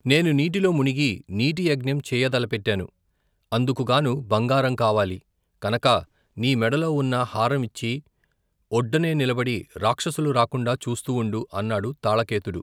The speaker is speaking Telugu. నేను నీటిలో ముణిగి నీటియజ్ఞం చెయ్య తలపెట్టాను, అందుకుగాను, బంగారం కావాలి కనక నీ మెడలో ఉన్న హారం ఇచ్చి, ఒడ్డునే నిలబడి, రాక్షసులు రాకుండా చూస్తూ ఉండు, అన్నాడు తాళకేతుడు.